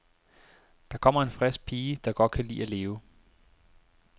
Der kommer en frisk pige, der godt kan lide at leve.